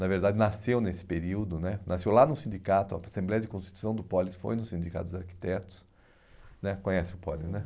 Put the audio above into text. na verdade nasceu nesse período né, nasceu lá no sindicato, a Assembleia de Constituição do Polis foi no Sindicato dos Arquitetos, né conhece o Polis, né?